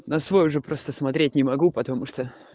на свой уже просто смотреть не могу потому что